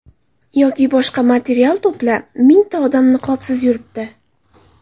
Yoki boshqa material to‘pla, mingta odam niqobsiz yuribdi.